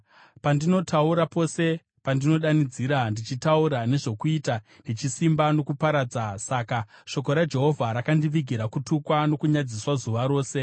Pandinotaura pose, ndinodanidzira ndichitaura nezvokuita nechisimba nokuparadza. Saka shoko raJehovha rakandivigira kutukwa nokunyadziswa zuva rose.